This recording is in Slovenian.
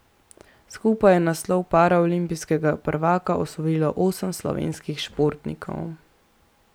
Skupaj je naslov paraolimpijskega prvaka osvojilo osem slovenskih športnikov.